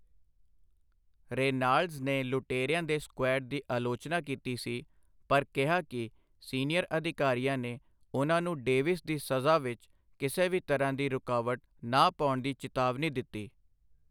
Reynolds ਨੇ ਲੁਟੇਰਿਆਂ ਦੇ ਸਕੁਐਡ ਦੀ ਆਲੋਚਨਾ ਕੀਤੀ ਸੀ, ਪਰ ਕਿਹਾ ਕਿ ਸੀਨੀਅਰ ਅਧਿਕਾਰੀਆਂ ਨੇ ਉਨ੍ਹਾਂ ਨੂੰ ਡੇਵਿਸ ਦੀ ਸਜ਼ਾ ਵਿੱਚ ਕਿਸੇ ਵੀ ਤਰ੍ਹਾਂ ਦੀ ਰੁਕਾਵਟ ਨਾ ਪਾਉਣ ਦੀ ਚਿਤਾਵਨੀ ਦਿੱਤੀ।